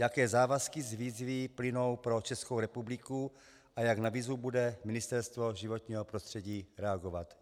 Jaké závazky z výzvy plynou pro Českou republiku a jak na výzvu bude Ministerstvo životního prostředí reagovat?